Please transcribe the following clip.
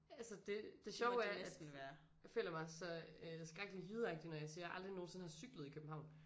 Altså det det sjove er at føler mig så øh skrækkelig jydeagtig når jeg siger jeg aldrig nogensinde har cyklet i København